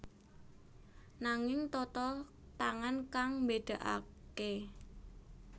Nanging tata tangan kang mbédakaké